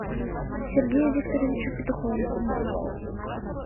сергею викторовичу петухову